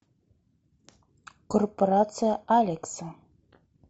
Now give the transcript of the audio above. корпорация алекса